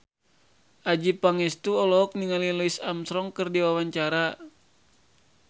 Adjie Pangestu olohok ningali Louis Armstrong keur diwawancara